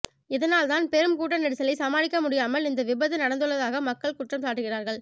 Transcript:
இதனால்தான் பெரும் கூட்ட நெரிசலை சமாளிக்க முடியாமல் இந்த விபத்து நடந்துள்ளதாக மக்கள் குற்றம் சாட்டுகிறார்கள்